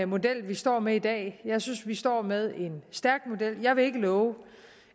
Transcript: model vi står med i dag jeg synes at vi står med en stærk model jeg vil ikke love